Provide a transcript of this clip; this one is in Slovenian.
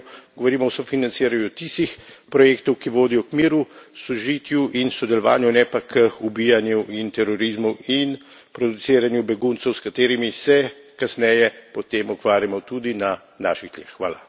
Če govorimo o sofinanciranju, govorimo o sofinanciranju tistih projektov, ki vodijo k miru, sožitju in sodelovanju, ne pa k ubijanju in terorizmu in produciranju beguncev, s katerimi se kasneje potem ukvarjamo tudi na naših tleh.